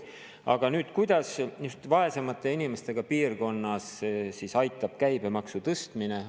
Aga kuidas just vaesemate inimestega piirkonnas on käibemaksu tõstmisest abi?